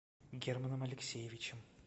германом алексеевичем